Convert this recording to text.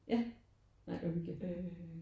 Ja nej hvor hyggeligt